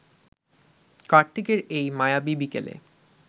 কার্তিকের এই মায়াবী বিকেলে